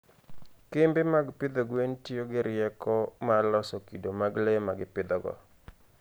kembe mag pidho gwen tiyo gi rieko mar loso kido mag le ma gipidhogo.